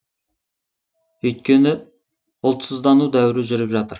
өйткені ұлтсыздану дәуірі жүріп жатыр